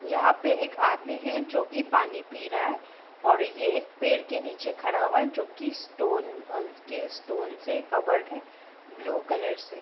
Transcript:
यहाँ पे एक आदमी है जो कि पानी पी रहा है और ये एक पेड़ के नीचे खड़ा हुआ है जो कि स्टोन अ के स्टोन से कवर्ड है ब्लू कलर से।